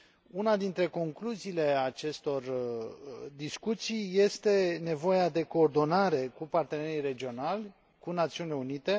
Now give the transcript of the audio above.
Una dintre concluziile acestor discuții este nevoia de coordonare cu partenerii regionali, cu Națiunile Unite.